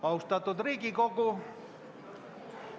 Austatud Riigikogu!